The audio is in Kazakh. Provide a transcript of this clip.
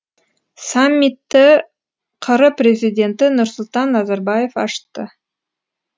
саммиті қр президенті нұрсұлтан назарбаев ашты